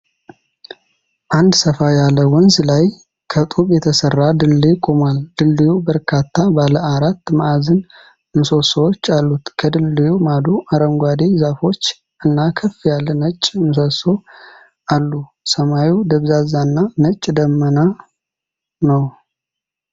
አንድ ሰፋ ያለ ወንዝ ላይ ከጡብ የተሠራ ድልድይ ቆሟል። ድልድዩ በርካታ ባለ አራት ማዕዘን ምሰሶዎች አሉት። ከድልድዩ ማዶ አረንጓዴ ዛፎች እና ከፍ ያለ ነጭ ምሰሶ አሉ። ሰማዩ ደብዛዛና ነጭ ደመናማ ነው።